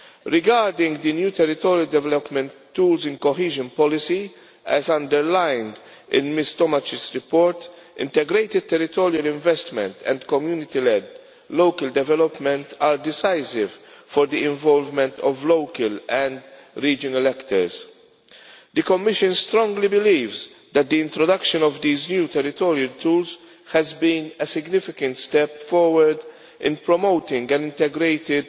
Regarding the new territorial development tools in cohesion policy as underlined in Ms Tomašić's report, integrated territorial investment and community led local development are decisive for the involvement of local and regional actors. The Commission strongly believes that the introduction of these new territorial tools has been a significant step forward in promoting an integrated